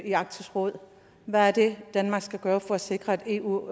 i arktisk råd hvad er det danmark skal gøre for at sikre at eu